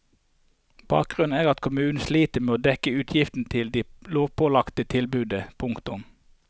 Bakgrunnen er at kommunen sliter med å dekke utgiftene til det lovpålagte tilbudet. punktum